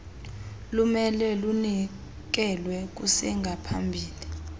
lumele lunikelwe kusengaphambili